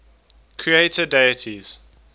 creator deities